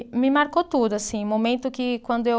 Me marcou tudo, assim, momento que quando eu